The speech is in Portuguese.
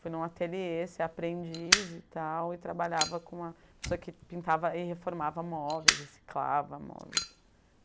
Fui em um ateliê ser aprendiz e tal, e trabalhava com uma pessoa que pintava e reformava móveis, reciclava móveis.